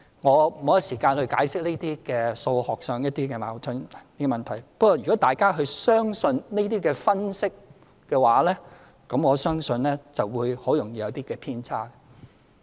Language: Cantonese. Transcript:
我沒有時間解釋這些數學上的矛盾問題，不過，如果大家相信這些分析，我相信會很易會有偏差。